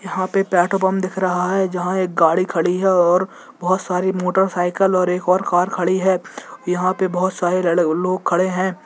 यहाँ पे petrol pump दिख रहा है जहाँ एक गाड़ी खड़ी और बहुत सारी मोटर साइकिल और एक और कार खड़ी है यहाँ पे बहुत सारे रेड लोग खड़े है।